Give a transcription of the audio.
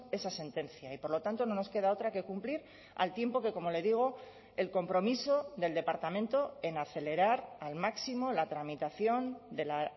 esa sentencia y por lo tanto no nos queda otra que cumplir al tiempo que como le digo el compromiso del departamento en acelerar al máximo la tramitación de la